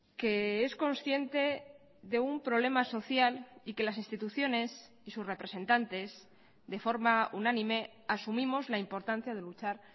que es consciente de un problema social y que las instituciones y sus representantes de forma unánime asumimos la importancia de luchar